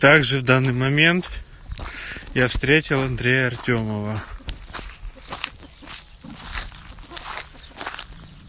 также в данный момент я встретил андрея артёмова